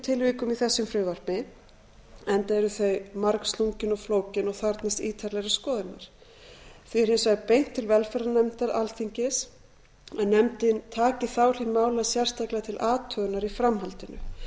tilvikum í þessu frumvarpi enda eru þau margslungin og flókin og þarfnast ítarlegrar skoðunar við því er hins vegar beint til velferðarnefndar alþingis að nefndin taki þá hlið mála sérstaklega til athugunar í framhaldinu það